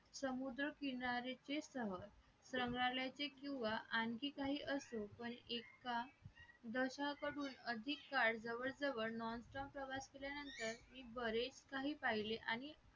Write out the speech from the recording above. समुद्रकिनाऱ्याचे सहल संग्रहालयाचे किंवा आणखीन काही असो पण एक का दशाकडून अधिक काळ जवळजवळ non stop प्रवास केल्यानंतर मी बरेच काही पाहिले आहे आणि